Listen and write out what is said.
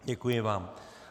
Děkuji vám.